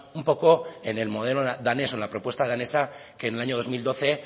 un poco en el modelo danés o en la propuesta danesa que en el año dos mil doce